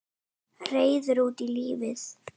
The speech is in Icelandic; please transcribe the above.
Reiður út í lífið.